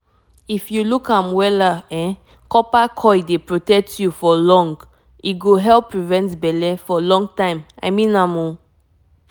um na train health pesin dey put coil for pesin u know na na birth control wey no get wahala i um mean am